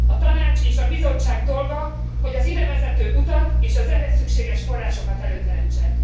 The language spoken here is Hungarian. A Tanács és a Bizottság dolga, hogy az idevezető utat és az ehhez szükséges forrásokat előteremtse.